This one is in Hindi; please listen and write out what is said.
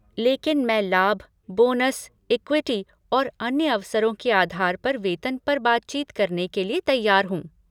लेकिन मैं लाभ, बोनस, इक्विटी और अन्य अवसरों के आधार पर वेतन पर बातचीत करने के लिए तैयार हूँ।